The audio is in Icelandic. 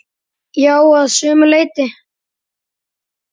Já, að sumu leyti.